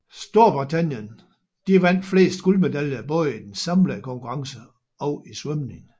Storbritannien vandt flest guldmedaljer både i den samlede konkurrence og i svømning